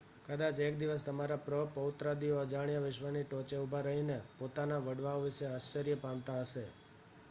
કદાચ એક દિવસ તમારા પ્ર-પ્રૌત્રાદિઓ અજાણ્યા વિશ્વની ટોચે ઊભા રહીને પોતાના વડવાઓ વિશે આશ્ચર્ય પામતાં હશે